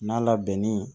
N'a labɛnni